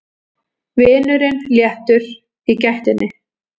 Vinurinn léttur í gættinni.